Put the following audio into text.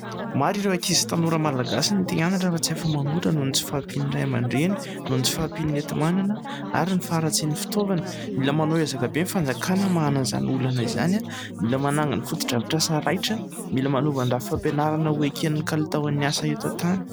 Maro ireo ankizy tanora Malagasy ny te-hianatra fa tsy afa manoatra noho ny tsy fahampian'ny ray aman-dreny, noho ny tsy fahampiany enti-manana ary ny faharatsian'ny fitaovana, mila manao ezaka be ny fanjakana amahana izany olana izany, mila manangana fotodrafitr'asa raitra, mila manova ny rafim-pampianarana ho eken'ny kalitao an'ny asa eto an-tany.